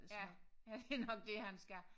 Ja ja det nok det han skal